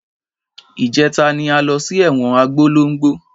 Ìjẹta ni a lọ sí ẹ̀wọn Abólongo.